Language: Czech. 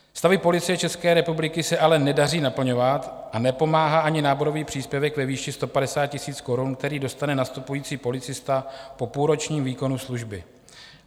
Stavy Policie České republiky se ale nedaří naplňovat a nepomáhá ani náborový příspěvek ve výši 150 000 korun, který dostane nastupující policista po půlročním výkonu služby.